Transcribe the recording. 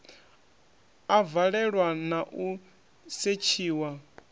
a valelwa na u setshiwa